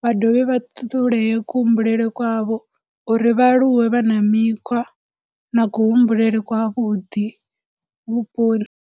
vha dovhe vha ṱuṱulee kuhumbulele kwavho uri vha aluwe vha na mikhwa na kuhumbulele kwavhuḓi vhuponi.